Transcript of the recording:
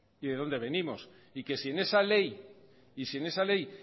si en esa ley